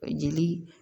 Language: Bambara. Jeli